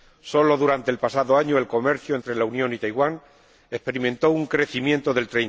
Solo durante el pasado año el comercio entre la Unión y Taiwán experimentó un crecimiento del